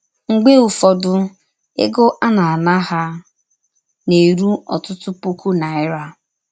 Mgbe ụfọdụ, egọ a na - ana ha na - erụ ọtụtụ pụkụ naịra.